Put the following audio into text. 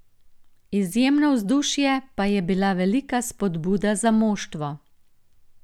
Izjemno vzdušje pa je bila velika spodbuda za moštvo.